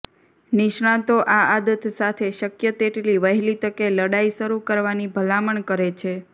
નિષ્ણાતો આ આદત સાથે શક્ય તેટલી વહેલી તકે લડાઈ શરૂ કરવાની ભલામણ કરે છે